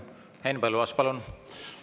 Henn Põlluaas, palun!